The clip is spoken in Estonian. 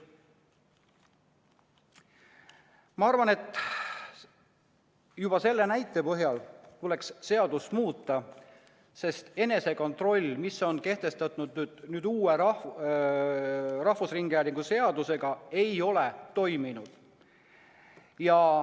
Ma arvan, et juba selle näite põhjal tuleks seadust muuta, sest enesekontroll, mis on kehtestatud uue rahvusringhäälingu seadusega, ei ole toiminud.